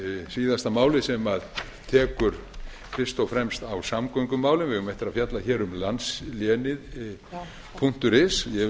síðasta málið sem tekur fyrst og fremst á samgöngumálum við eigum eftir að fjalla um landslénið punktur is og